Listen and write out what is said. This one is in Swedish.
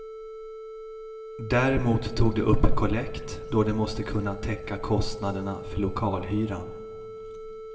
Däremot tog de upp kollekt, då de måste kunna täcka kostnaderna för lokalhyran.